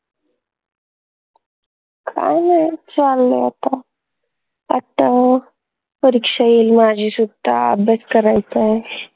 काई नाई चाललंय आता आता परीक्षा येईल माझी सुद्धा अभ्यास करायचाय